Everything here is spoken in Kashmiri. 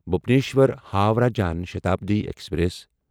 بھونیشور ہووراہ جان شٹابڈی ایکسپریس